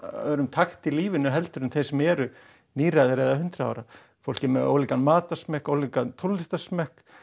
öðrum takti í lífinu en þeir sem eru níræðir eða hundrað ára fólk er með ólíkan matarsmekk ólíkan tónlistarsmekk